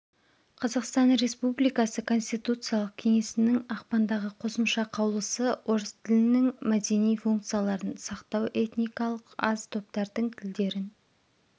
қазақстан республикасы конституциялық кеңесінің ақпандағы қосымша қаулысы орыс тілінің мәдени функцияларын сақтау этникалық аз топтардың тілдерін